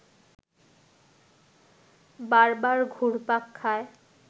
বারবার ঘুরপাক খায়